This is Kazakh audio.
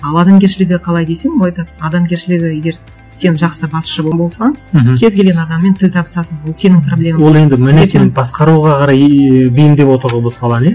ал адамгершілігі қалай десем ол айтады адамгершілігі егер сен жақсы басшы болсаң мхм кез келген адаммен тіл табысасың ол сенің проблемаң ол енді басқаруға қарай ы бейімдеп отыр ғой бұл саланы иә